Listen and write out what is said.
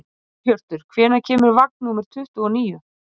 Umræður um vatnsaflsvirkjanir hafa löngum verið miklar hér á landi.